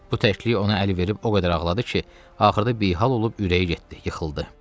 Bu təkliyi ona əl verib o qədər ağladı ki, axırda bihal olub ürəyi getdi, yıxıldı.